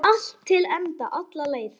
Allt til enda, alla leið.